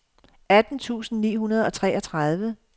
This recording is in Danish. atten tusind ni hundrede og treogtredive